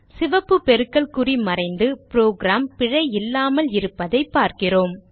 சிவப்பு பெருக்கல் குறி மறைந்து புரோகிராம் பிழை இல்லாமல் இருப்பதை பார்க்கிறோம்